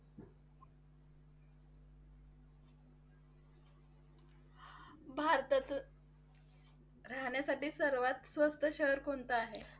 भारतातील राहण्यासाठी सर्वात स्वस्त शहर कोणतं आहे?